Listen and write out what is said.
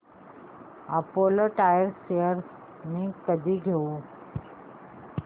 Apollo tyres shares मी कधी घेऊ